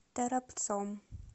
торопцом